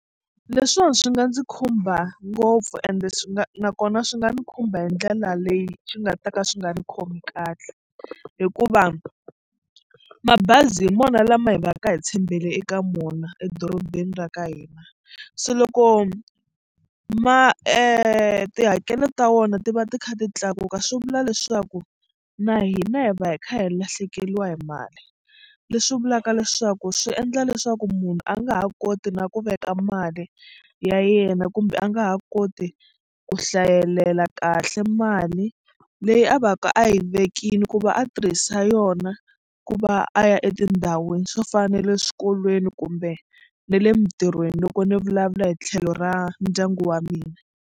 Leswiwani swi nga ndzi khumba ngopfu ende swi nga nakona swi nga ni khumba hi ndlela leyi swi nga ta ka swi nga ni khomi kahle hikuva mabazi hi mona lama hi va ka hi tshembele eka mona edorobeni ra ka hina se loko ma tihakelo ta vona ti va ti kha ti tlakuka swi vula leswaku na hina hi va hi kha hi lahlekeriwa hi mali. Leswi vulaka leswaku swi endla leswaku munhu a nga ha koti na ku veka mali ya yena kumbe a nga ha koti ku hlayelela kahle mali leyi a va ka a yi vekile ku va a tirhisa yona ku va a ya etindhawini swo fana na le swikolweni kumbe na le mitirhweni loko ni vulavula hi tlhelo ra ndyangu wa mina.